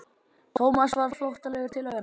Thomas varð flóttalegur til augnanna.